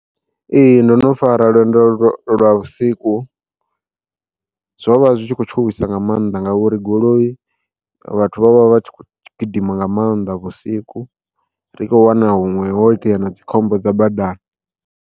Ee ndono fara lwendo lwa lwa vhusiku, zwo vha zwi tshi kho tshuwisa nga mannḓa ngauri goloi vhathu vha vha vha tshi kho gidima nga maanḓa vhusiku ri kho wana huṅwe hoitea na dzikhombo dza badani.